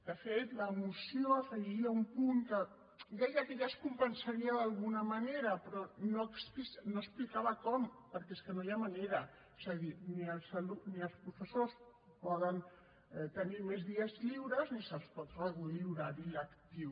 de fet la moció afegia un punt que deia que ja es compensaria d’alguna manera però no explicava com perquè és que no hi ha manera és a dir ni els professors poden tenir més dies lliures ni se’ls pot reduir l’horari lectiu